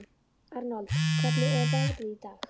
Arnold, hvernig er veðrið í dag?